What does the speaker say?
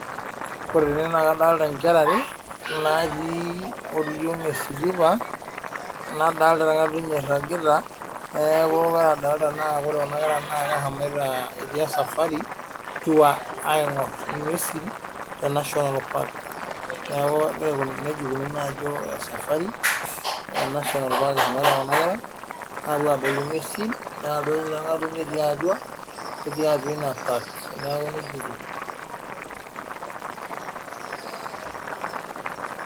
Wore tene naa kadoolta inkera ware, natii oriong esitipa. Nadoolta orngatuny oiragita. Neeku wore adoolta naa wore kuna kera naa keshomoita etii esafari tour, aingorr inguesin te National park. Neeku nejia ikununuo ajo esafari, ena saa eshomoita kuna kera, aapuo aadol inguesin, naa liido orngatuny otii atua inia park. Neeku nejia etiu.